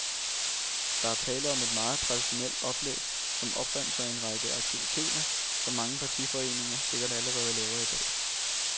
Der er tale om et meget traditionelt oplæg, som opremser en række aktiviteter, som mange partiforeninger sikkert allerede laver i dag.